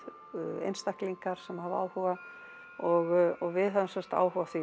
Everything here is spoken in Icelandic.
einstaklingar sem hafa áhuga og við höfum sem sagt áhuga á því